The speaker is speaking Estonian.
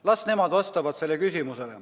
Las nemad vastavad sellele küsimusele.